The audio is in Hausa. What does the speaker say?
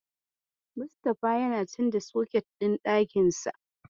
Mustapha ya canza soket ɗin ɗakinsa.